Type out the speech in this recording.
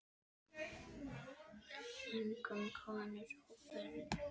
Einkum konur og börn.